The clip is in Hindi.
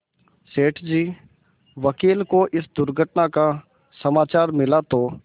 सेठ जी वकील को इस दुर्घटना का समाचार मिला तो